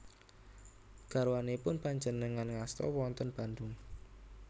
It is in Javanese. Garwanipun panjenengan ngasta wonten Bandung?